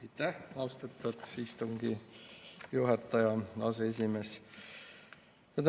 Aitäh, austatud istungi juhataja, aseesimees!